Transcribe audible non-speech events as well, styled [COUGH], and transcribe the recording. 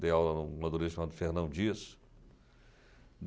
Dei aula em uma [UNINTELLIGIBLE] chamado Fernando disso